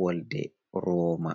wolde rooma.